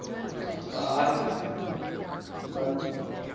la haye sainte